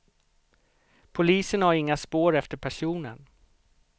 Polisen har inga spår efter personen.